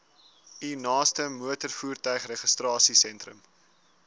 u naaste motorvoertuigregistrasiesentrum